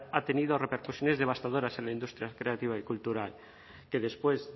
ha tenido repercusiones devastadoras en la industria creativa y cultural que después